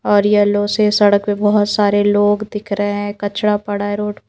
और येलो से सड़क पे बहुत सारे लोग दिख रहे हैं कचड़ा पड़ा है रोड --